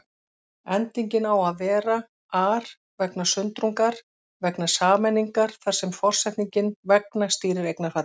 Endingin á að vera-ar, vegna sundrungar, vegna sameiningar þar sem forsetningin vegna stýrir eignarfalli.